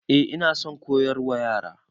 Eh ina son koyarwa Yara.